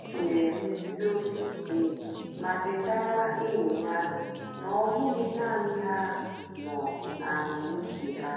o nyèrè mmèsì óbì ìké mà chétàra ényì ya na ọ́ bụ́ghì naanì ha nọ̀ na àhụ́mị̀chè ha.